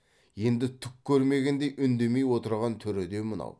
енді түк көрмегендей үндемей отырған түрі де мынау